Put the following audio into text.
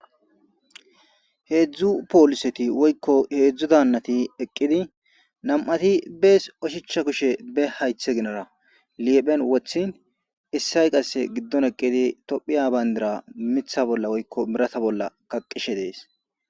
heedzdzu pooliseti woykko heedzdzu daannati eqqidi nam'ati bees oshicha kushe be haythe ginara liephen wothin issay qasse giddon eqqidi tophiya bayndira mitha bolla woykko birata bolla kaqishe dees